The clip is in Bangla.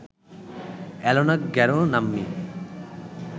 এলোনা গ্যারো নাম্নী